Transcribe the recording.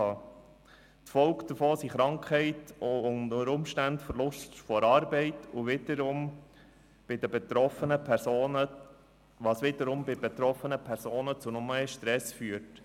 Die Folgen davon sind Krankheit und unter Umständen Verlust der Arbeit, was wiederum bei den betroffenen Personen zu noch mehr Stress führt.